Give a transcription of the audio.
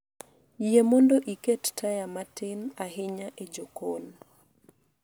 Yie mondo iket taya matin ahinya e jokon